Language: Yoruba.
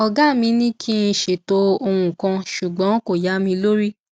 ògá mi ní kí n ṣètò ohun kan ṣùgbọn kò yá mi lórí